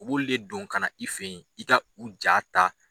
U b'ulu le don ka na i fɛ ye i ka u jaa ta.